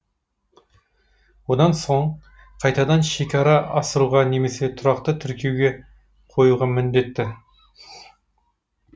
одан соң қайтадан шекара асыруға немесе тұрақты тіркеуге қоюға міндетті